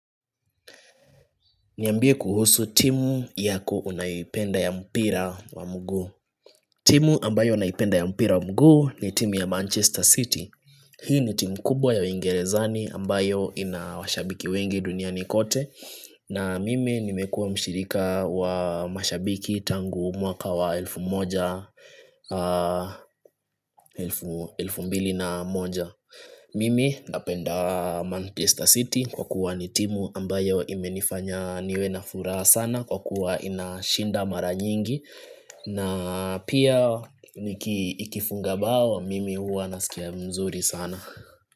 Niambie kuhusu timu yako unayoipenda ya mpira wa mguu timu ambayo naipenda ya mpira wa mguu ni timu ya Manchester City Hii ni timu kubwa ya uwingerezani ambayo ina washabiki wengi duniani kote na mimi nimekuwa mshirika wa mashabiki tangu mwaka wa elfu moja, elfu mbili na moja mimi napenda Manchester City kwa kuwa nitimu ambayo imenifanya niwe na furaha sana kwa kuwa inashinda mara nyingi na pia ikifunga bao mimi huwa nasikia mzuri sana.